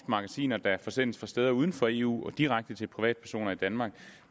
magasiner der forsendes fra steder uden for eu og direkte til privatpersoner i danmark